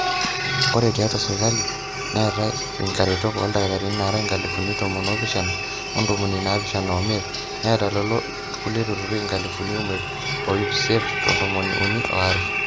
ore tiatua sirkali neetai inkaretok ooldakitarini naara inkalifuni tomon oopishana ontomoni naapishana ooimiet neeta lelo kulie turrurri inkalifuni imiet o ip isiet o tomoni uni ooare